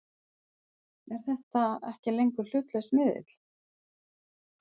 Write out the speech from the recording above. Er þetta ekki lengur hlutlaus miðill?!?!